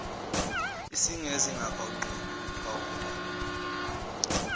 esegeza engakawugcobi uphawuda